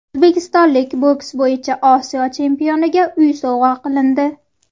O‘zbekistonlik boks bo‘yicha Osiyo chempioniga uy sovg‘a qilindi.